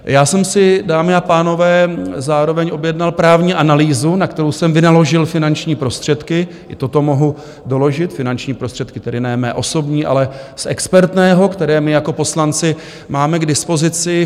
Já jsem si, dámy a pánové, zároveň objednal právní analýzu, na kterou jsem vynaložil finanční prostředky, i toto mohu doložit, finanční prostředky tedy ne mé osobní, ale z expertného, které my jako poslanci máme k dispozici.